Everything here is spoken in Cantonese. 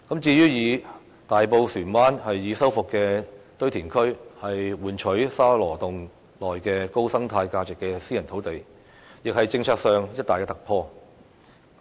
至於"以大埔船灣已修復的堆填區換取沙羅洞內具高生態價值的私人土地"的建議，亦是政策上的一大突破。